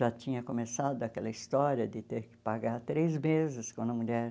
Já tinha começado aquela história de ter que pagar três meses quando a mulher...